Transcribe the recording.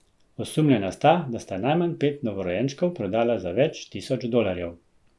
Osumljena sta, da sta najmanj pet novorojenčkov prodala za več tisoč dolarjev.